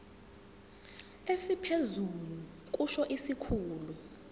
esiphezulu kusho isikhulu